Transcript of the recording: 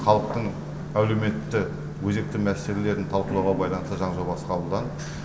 халықтың әлеуметті өзекті мәселелерін талқылауға байланысты заң жобасы қабылданды